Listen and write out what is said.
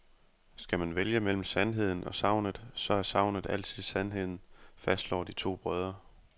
Skal man vælge mellem sandheden og sagnet, så er sagnet altid sandheden, fastslår de to brødre.